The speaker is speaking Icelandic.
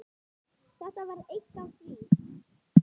Þetta var eitt af því.